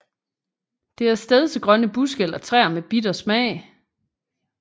Det er stedsegrønne buske eller træer med bitter smag